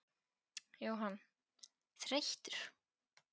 Jóhann: Þreyttur?